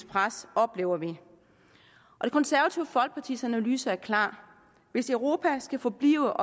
pres oplever vi det konservative folkepartis analyse er klar hvis europa skal forblive